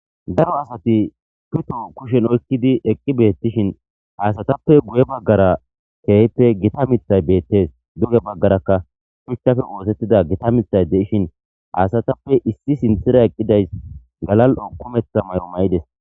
Daro asati pito kushen oyqqidi eqqi beetishin, ha asatappe goye bagara keehippe gita miththay beetees. Duge bagarakka miththappe oosetiza gita miththay de7ishin ha asatappe iss sinththara eqqidayssi galal7o ukumetida mayo mayidees.